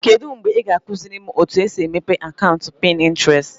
Kedu mgbe ị ga-akụziri m otu esi emepe akaụntụ Pinterest?